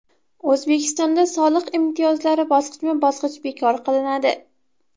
O‘zbekistonda soliq imtiyozlari bosqichma-bosqich bekor qilinadi.